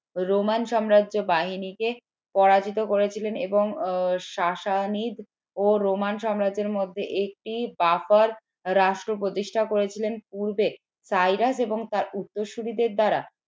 Roman সাম্রাজ্য বাহিনীকে পরাজিত করেছিলেন এবং ও রোমান সাম্রাজ্যের মধ্যে একটি রাষ্ট্র প্রতিষ্ঠা করেছিলেন পূর্বে সাইরাস এবং তার উত্তরসূরিদের দ্বারা